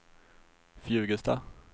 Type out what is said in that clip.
Fjugesta